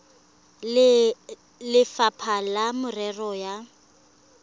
le lefapha la merero ya